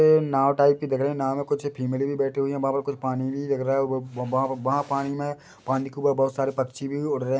ऐ नाव टाइप की दिख रही नाव में कुछ फ़ीमेल भी बैठी हुई है वहाँ पर कुछ पानी भी दिख रहा व वहाँ-वहाँ पानी में पानी के ऊपर बहोत सारे पक्षी भी उड़ रहे --